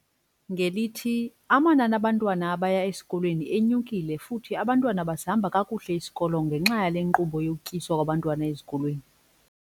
Ngelithi, amanani abantwana abaya esikolweni enyukile futhi abantwana basihamba kakuhle isikolo ngenxa yale nkqubo yokutyiswa kwabantwana ezikolweni.